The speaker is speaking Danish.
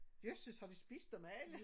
Jøsses har de spist dem alle